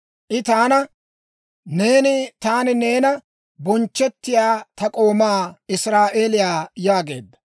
I taana, «Neeni taani neenan bonchchettiyaa ta k'oomaa Israa'eeliyaa» yaageedda.